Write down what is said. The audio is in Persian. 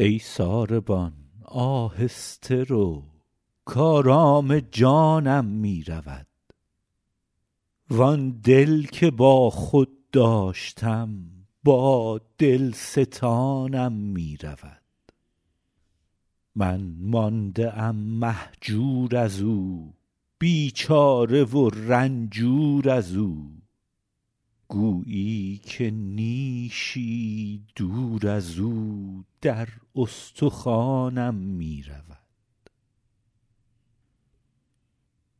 ای ساربان آهسته رو کآرام جانم می رود وآن دل که با خود داشتم با دل ستانم می رود من مانده ام مهجور از او بیچاره و رنجور از او گویی که نیشی دور از او در استخوانم می رود